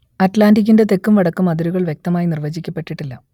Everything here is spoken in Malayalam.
അറ്റ്‌ലാന്റിക്കിന്റെ തെക്കും വടക്കും അതിരുകൾ വ്യക്തമായി നിർവചിക്കപ്പെട്ടിട്ടില്ല